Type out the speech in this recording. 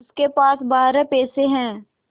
उसके पास बारह पैसे हैं